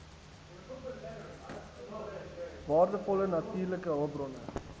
waardevolle natuurlike hulpbronne